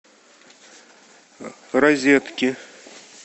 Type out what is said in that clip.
розетки